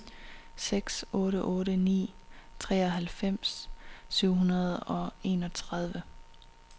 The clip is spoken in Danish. seks otte otte ni treoghalvfems syv hundrede og enogtredive